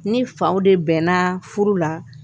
Ni faw de bɛnna furu la